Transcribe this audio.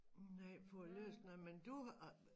Nej for ikke læst noget men du har